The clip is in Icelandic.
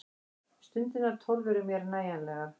Stundirnar tólf eru mér nægjanlegar.